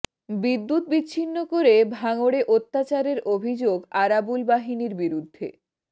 বিদ্যুৎ বিচ্ছিন্ন করে ভাঙড়ে অত্যাচারের অভিযোগ আরাবুল বাহিনীর বিরুদ্ধে